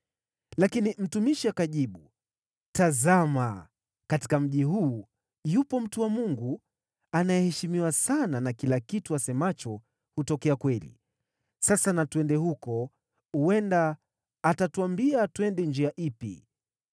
Lakini mtumishi akajibu, “Tazama, katika mji huu yupo mtu wa Mungu, anayeheshimiwa sana na kila kitu asemacho hutokea kweli. Sasa na twende huko. Huenda atatuambia twende njia ipi.”